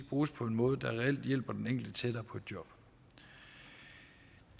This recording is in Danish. bruges på en måde der reelt hjælper den enkelte tættere på et job